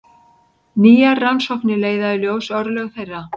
Nýjar rannsóknir leiða í ljós örlög þeirra.